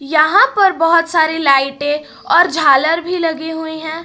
यहां पर बहुत सारे लाइटें और झालर भी लगे हुईं हैं।